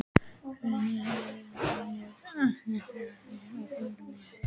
Brynmar, heyrðu í mér eftir þrjátíu og fjórar mínútur.